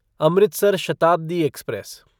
Amritsar Shatabdi express